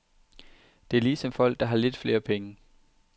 Det er ligesom folk, der har lidt flere penge.